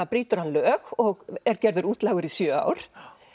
brýtur hann lög og er gerður útlægur í sjö ár